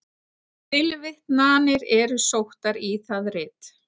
Tilvitnanir eru sóttar í það rit.